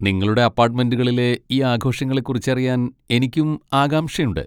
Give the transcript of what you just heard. നിങ്ങളുടെ അപ്പാട്ടുമെന്റുകളിലെ ഈ ആഘോഷങ്ങളെ കുറിച്ചറിയാൻ എനിക്കും ആകാംക്ഷയുണ്ട്.